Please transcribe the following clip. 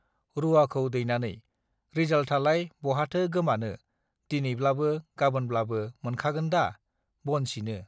रूवाखौ दैनानै रिजाल्थआलाय बहाथो गोमानो दिनैब्लाबो गाबोनब्लाबो मोनखागोनदा बन सिनो